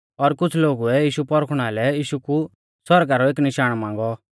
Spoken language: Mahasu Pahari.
और कुछ़ लोगुऐ यीशु परखुणा लै यीशु कु सौरगा रौ एक निशाण मांगौ